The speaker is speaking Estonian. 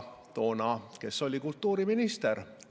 Kes oli toona kultuuriminister?